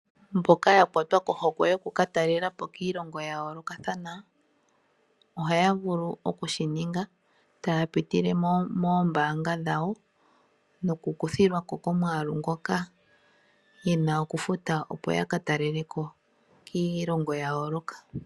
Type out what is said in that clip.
Mboka ya kwatwa kohokwe yokukatalela po kiilongo yayoolokathana ohaya vulu okushininga taya pitile moombaanga dhawo nokukuthilwa ko komwaalu ngoka ye na okufuta opo yakatalele po kiilongo yayooloka.